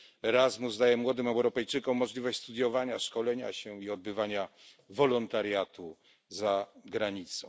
Erasmus daje młodym Europejczykom możliwość studiowania, szkolenia się i odbywania wolontariatu za granicą.